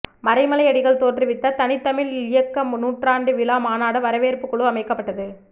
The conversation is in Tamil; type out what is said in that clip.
மறைமலையடிகள் தோற்றுவித்த தனித்தமிழ் இயக்க நூற்றாண்டு விழா மாநாடு வரவேற்புக்குழு அமைக்கப்பட்டது